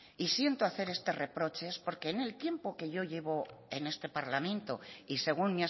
y siento hacer este reproche es porque en el tiempo que llevo en este parlamento y según